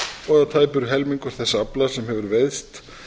og að tæpur helmingur þess afla sem hefur veiðst